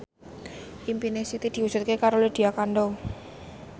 impine Siti diwujudke karo Lydia Kandou